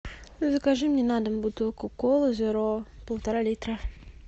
закажи мне на дом бутылку колы зеро полтора литра